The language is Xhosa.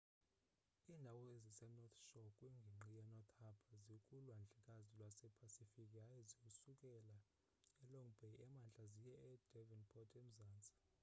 iindawo ezise-north shore kwingingqi ye-north harbour zikulwandlekazi lwepasifiki yaye zisukela e-long bay emntla ziye e-devonport emzantsi